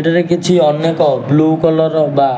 ଏଠାରେ କିଛି ଅନେକ ବ୍ଲୁ କଲର୍ ର ବା